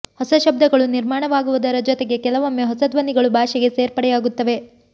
ಹೊಸ ಶಬ್ದಗಳು ನಿರ್ಮಾಣವಾಗುವುದರ ಜೊತೆಗೆ ಕೆಲವೊಮ್ಮೆ ಹೊಸ ಧ್ವನಿಗಳೂ ಭಾಷೆಗೆ ಸೇರ್ಪಡೆಯಾಗುತ್ತವೆ